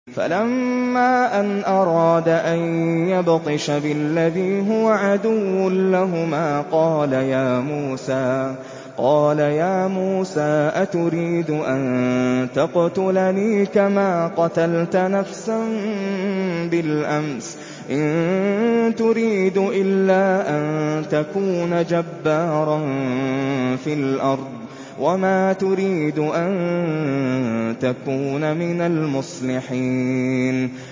فَلَمَّا أَنْ أَرَادَ أَن يَبْطِشَ بِالَّذِي هُوَ عَدُوٌّ لَّهُمَا قَالَ يَا مُوسَىٰ أَتُرِيدُ أَن تَقْتُلَنِي كَمَا قَتَلْتَ نَفْسًا بِالْأَمْسِ ۖ إِن تُرِيدُ إِلَّا أَن تَكُونَ جَبَّارًا فِي الْأَرْضِ وَمَا تُرِيدُ أَن تَكُونَ مِنَ الْمُصْلِحِينَ